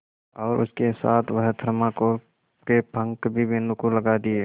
और उसके साथ वह थर्माकोल के पंख भी मीनू को लगा दिए